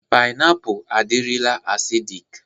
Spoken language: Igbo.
Pịnapụ adirila asidịk.